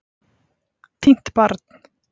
Týnt barn